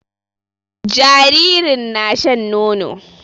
Jinjirin na shan nono